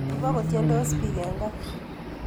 Ibokotiedos biik en gaa.